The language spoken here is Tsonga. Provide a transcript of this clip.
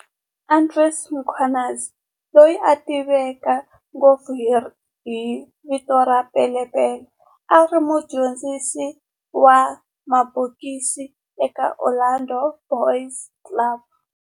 Andries Mkhwanazi, loyi a tiveka ngopfu hi vito ra Pele Pele, a ri mudyondzisi wa mabokisi eka Orlando Boys Club